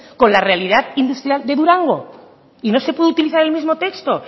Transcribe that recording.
con la realidad industrial de durango y no se puede utilizar el mismo texto